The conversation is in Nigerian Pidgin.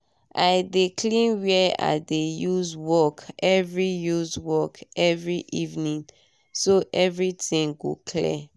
i dey clean where i dey use work every use work every evening time so everytin go clear